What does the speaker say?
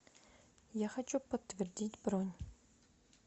я хочу подтвердить бронь